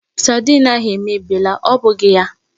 Saidin ahụ èmèbịèlà, ọ bụghị ya?